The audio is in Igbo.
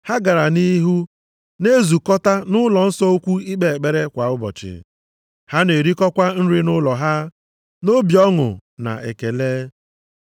Ha gara nʼihu na-ezukọta nʼụlọnsọ ukwu ikpe ekpere kwa ụbọchị. Ha na-erikọkwa nri nʼụlọ ha, nʼobi ọṅụ na ekele.